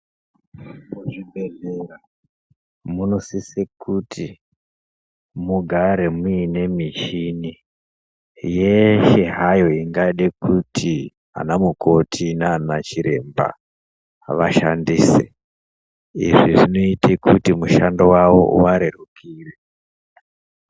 Muzvibhehlera munosise kuti mugare muine michini yeshe hayo ingade kuti ana mukoti naana chiremba vashandise, izvi zvinoite kuti mushando wavo uvarerukire.